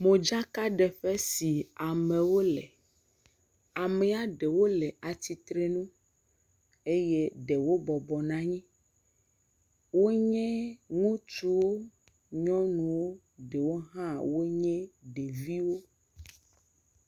Modzaka ɖeƒe si amewo le, ame ɖewo le atsitre nu, eye ɖewo bɔbɔ nɔ anyi, Wonye ŋutsuwo, nyɔnuwo, ɖewo hã wonye ɖeviwo.